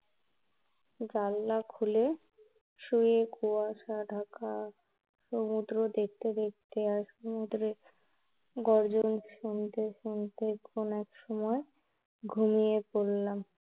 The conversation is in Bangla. জানালা খুলে শুয়ে কুয়াশা ঢাকা সমুদ্র দেখতে দেখতে, আর সমুদ্রের গর্জন শুনতে শুনতে কোন এক সময় ঘুমিয়ে পড়লাম